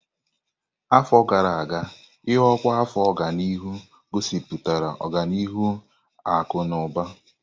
Afọ gara aga, ịọkwa afọ ọganihu gosipụtara ọganihu akụ na ụba.